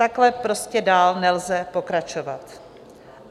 Takhle prostě dál nelze pokračovat.